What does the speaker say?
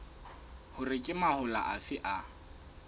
hore ke mahola afe a